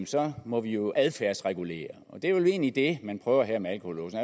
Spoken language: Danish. så må vi jo adfærdsregulere det er vel egentlig det man prøver her med alkolåse